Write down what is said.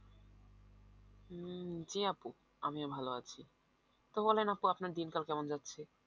উম জ্বি আপু আমিও ভালো আছি, তো বলেন আপু আপনার দিন কাল কেমন যাচ্ছে